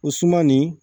O suman nin